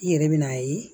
I yɛrɛ bɛ n'a ye